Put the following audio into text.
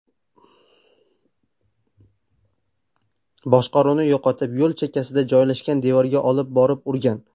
boshqaruvni yo‘qotib, yo‘l chekkasida joylashgan devorga olib borib urgan.